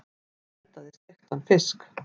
Hún eldaði steiktan fisk.